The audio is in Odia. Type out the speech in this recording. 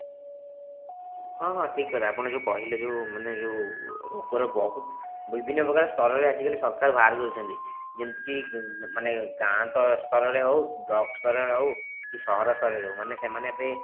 ହଁ ହଁ ଠିକ କଥା ଆପଣ ଯେଉଁ କହିଲେ ଯେଉଁ ମାନେ ଯେଉଁ ରୋଗ ର ବହୁତ ମାନେ ବିଭିନ୍ନ ପ୍ରକାର ସ୍ତର ରେ ଆଜିକାଲି ସରକାର ସବୁ ବାହାର କରିଛନ୍ତି ଯେମିତି କି ମାନେ ଗାଁ ସ୍ତର ରେ ହୋଉ block ସ୍ତର ରେ ହୋଉ କି ସହର ସ୍ତରରେ ହୋଉ ମାନେ ସେମାନେ ଏବେ